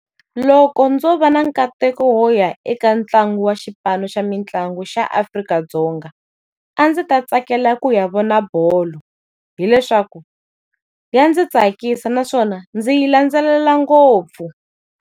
Loko ndzo va na nkateko wo ya eka ntlangu wa xipano xa mitlangu xa Afrika-Dzonga, a ndzi ta tsakela ku ya vona bolo. Hi leswaku, ya ndzi tsakisa naswona ndzi yi landzelela ngopfu.